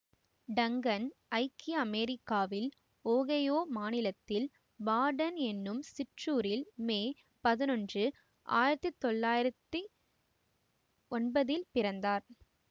Dungan ஐக்கிய அமெரிக்காவில் Ohio மாநிலத்தில் பார்டன் என்னும் சிற்றூரில் மே பதினொன்று ஆயிரத்தி தொள்ளாயிரத்தி ஒன்பதில் பிறந்தார்